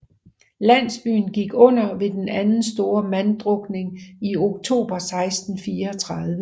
Landsbyen gik under ved den anden store manddrukning i oktober 1634